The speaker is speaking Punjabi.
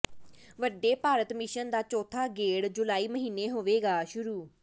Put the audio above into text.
ਵੰਦੇ ਭਾਰਤ ਮਿਸ਼ਨ ਦਾ ਚੋਥਾ ਗੇੜ੍ਹ ਜੁਲਾਈ ਮਹੀਨੇ ਹੋਵੇਗਾ ਸ਼ੁਰੂ